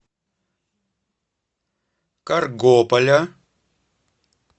каргополя